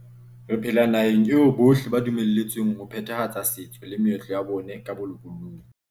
Re phela nahaneg eo bohle ba dumeletsweng ho phethahatsa setso le meetlo ya bona ka bolokolohi.